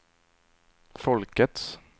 folkets